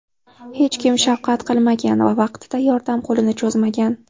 Hech kim shafqat qilmagan va vaqtida yordam qo‘lini cho‘zmagan.